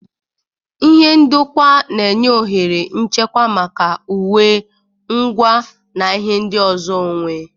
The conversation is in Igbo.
Ihe ndokwa na-enye ohere nchekwa maka uwe, ngwa, na ihe ndị ọzọ onwe.